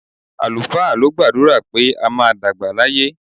Àlùfáà ló gbàdúrà pé a máa dàgbà láyé.